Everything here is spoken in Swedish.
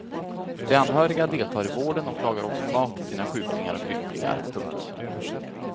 De anhöriga deltar i vården och lagar också mat till sina sjuklingar och krymplingar. punkt